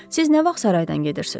Siz nə vaxt saraydan gedirsiz?